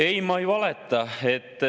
Ei, ma ei valeta.